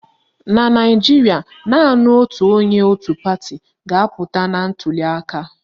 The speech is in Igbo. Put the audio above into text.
Na Naijiria, naanị otu onye otu pati ga-apụta na ntuliaka